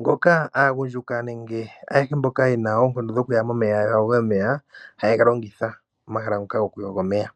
ngoka aagundjuka nenge ayehe mboka ye na oonkondo dhoku ya momeya ya yoge, omeya haye ga longitha, omahala ngoka gokuyoga omeya.